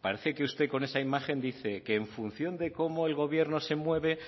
parece que usted con esa imagen dice que en función de cómo el gobierno se mueve